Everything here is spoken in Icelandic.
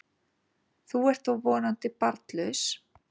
Þú ert þó vonandi barnlaus?